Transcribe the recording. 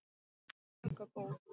Svaka góð.